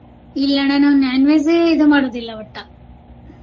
ಇಲ್ಲ ಅಣ್ಣ ನಾವ non-veg ಇದು ಮಾಡೋದಿಲ್ಲ ಒಟ್ಟ.